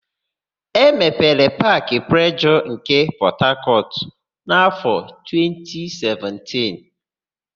E mepere Paakị Plejọọ nke Pọtakọtụ n'áfọ̀ 2017.